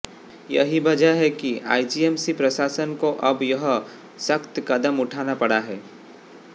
यही वजह है कि आईजीएमसी प्रशासन को अब यह सख्त कदम उठाना पड़ा है